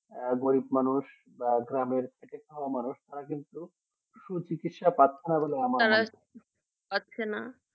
আর গরিব মানুষ বা গ্রামে খেতে খাওয়া মানুষ তারা কিন্তু সু চিকিৎসা পাচ্ছে না বলে আমার পাচ্ছে না